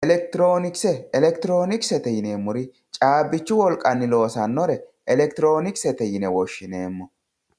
Electronkse electronkse chabichu wolqani loosanore electronlse yine woshineemo